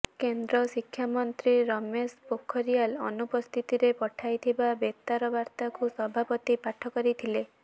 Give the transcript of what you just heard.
କେନ୍ଦ୍ର ଶିକ୍ଷାମନ୍ତ୍ରୀ ରମେଶ ପୋଖରିଆଲ ଅନୁପସ୍ଥିତରେ ପଠାଇଥିବା ବେତାର ବାର୍ତ୍ତାକୁ ସଭାପତି ପାଠ କରିଥିଲେ